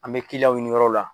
An bɛ kilianw ɲini yɔrɔw la.